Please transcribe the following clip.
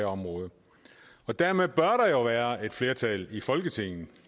område og dermed bør der jo være et flertal i folketinget men